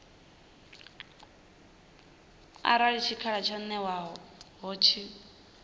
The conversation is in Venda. arali tshikhala tsho ṅewaho tshi